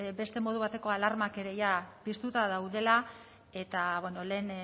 beste modu bateko alarmak ere jada piztuta daudela eta bueno lehen